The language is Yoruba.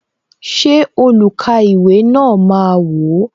Ṣé olukaiwe na máa wò?